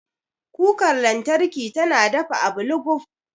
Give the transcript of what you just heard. Kukar lantarki tana dafa abu luguf.